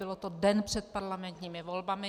Bylo to den před parlamentními volbami.